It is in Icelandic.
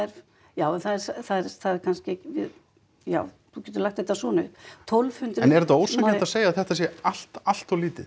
já það er kannski ekki já þú getur lagt þetta svona upp en er þetta ósanngjarnt að segja að þetta sé allt allt of lítið